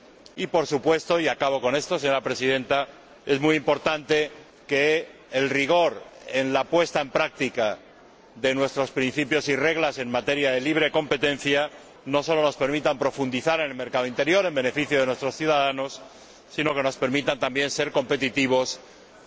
Y, por supuesto —y acabo con esto, señora Presidenta—, es muy importante que el rigor en la puesta en práctica de nuestros principios y reglas en materia de libre competencia no solo nos permita profundizar en el mercado interior en beneficio de nuestros ciudadanos, sino que nos permita también ser competitivos fuera y dentro de nuestras fronteras.